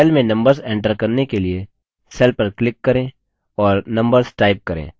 cell में numbers enter करने के लिए cell पर click करें और numbers type करें